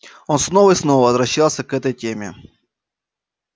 он снова и снова возвращался к этой теме